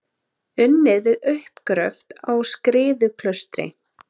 Unnið við uppgröft á Skriðuklaustri.